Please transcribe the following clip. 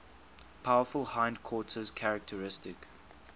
powerful hindquarters characteristic